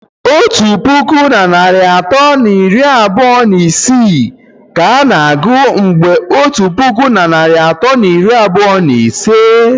Otu puku na narị atọ na iri abụọ na isii ka a ga-agụ mgbe otu puku na narị atọ na iri abụọ na ise